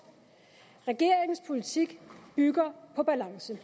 regeringens politik bygger på balance